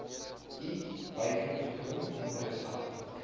i buitengewoon interessant